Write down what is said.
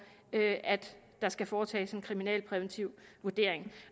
at der skal foretages en kriminalpræventiv vurdering